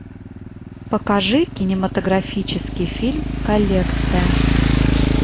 покажи кинематографический фильм коллекция